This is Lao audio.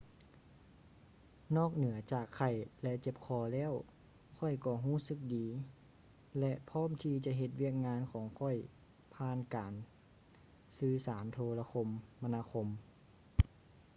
ນອກເໜືອຈາກໄຂ້ ແລະ ເຈັບຄໍແລ້ວ ຂ້ອຍກໍຮູ້ສຶກດີ ແລະ ພ້ອມທີ່ຈະເຮັດວຽກງານຂອງຂ້ອຍຜ່ານການສື່ສານໂທລະຄົມມະນາຄົມ